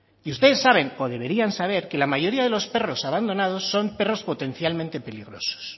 y ustedes saben o deberían saber que la mayoría de los perros abandonados son perros potencialmente peligrosos